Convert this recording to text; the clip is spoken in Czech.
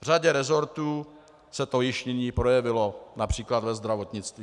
V řadě resortů se to již nyní projevilo, například ve zdravotnictví.